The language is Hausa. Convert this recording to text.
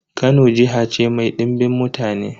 Kano jiha ce mai dimbin mutane.